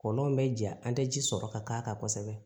Kɔlɔn bɛ ja an tɛ ji sɔrɔ ka k'a kan kosɛbɛ